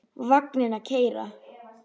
Vagninn að keyra.